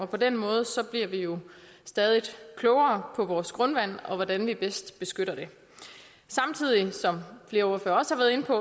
på den måde bliver vi jo stadig klogere på vores grundvand og på hvordan vi bedst beskytter det samtidig som flere ordførere også har været inde på